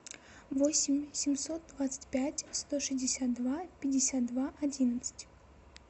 восемь семьсот двадцать пять сто шестьдесят два пятьдесят два одиннадцать